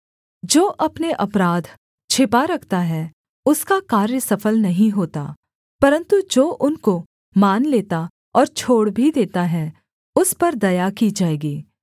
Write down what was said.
जो अपने अपराध छिपा रखता है उसका कार्य सफल नहीं होता परन्तु जो उनको मान लेता और छोड़ भी देता है उस पर दया की जाएगी